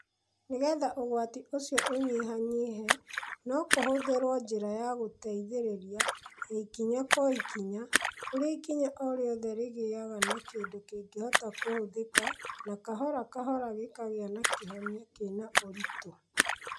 Nĩgetha ũgwati ũcio ũnyihanyihe, no kũhũthĩrũo njĩra ya gũteithĩrĩria, ya ikinya kwa ikinya, kũrĩa ikinya o rĩothe rĩgĩaga na kĩndũ kĩngĩhota kũhũthĩka na kahora kahora gĩkagĩa na kĩhonia kĩna ũritũ.